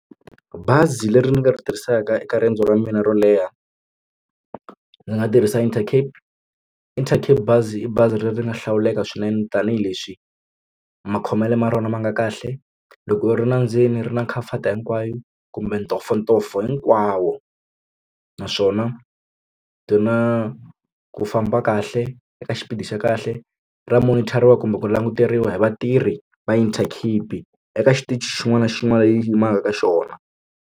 Bazi leri ri nga ri tirhisaka eka riendzo ra mina ro leha ndzi nga tirhisa Intercape Intercape bazi i bazi leri nga hlawuleka swinene tanihileswi makhomelo ma rona ma nga kahle loko u ri la ndzeni ri na khamfati hinkwayo kumbe ntomfontomfo hinkwawo naswona byi na ku famba kahle eka xipidi xa kahle ra monitor-iwa kumbe ku languteriwa hi vatirhi va Intercape eka xitichi xin'wana na xin'wana lexi yi yimaka ka xona.